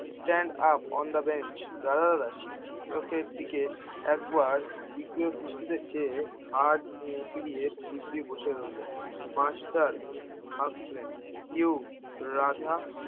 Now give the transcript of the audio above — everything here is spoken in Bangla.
stand up on the bench Radha দাদার চোখের দিকে একবার দৃষ্টিতে চেয়ে পেরিয়ে দিব্যি বসে রইলো মাষ্টার হাসলেন you রাধা